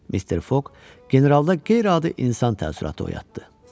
Mister Foq generalda qeyri-adi insan təəssüratı oyatdı.